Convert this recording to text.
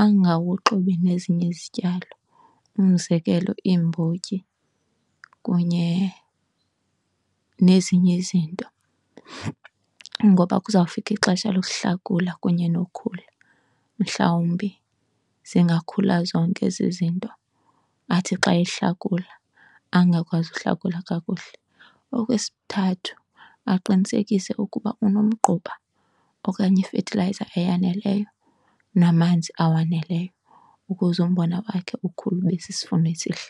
angawuxubi nezinye izityalo, umzekelo, iimbotyi kunye nezinye izinto. Ngoba kuzawufika ixesha lokuhlakula kunye nokhula, mhlawumbi zingakhula zonke ezi zinto athi xa ehlakula angakwazi ukuhlakula kakuhle. Okwesithathu, aqinisekise ukuba unomgquba okanye ifethilayiza eyaneleyo namanzi awaneleyo ukuze umbona wakhe ukhule ube sisivuno esihle.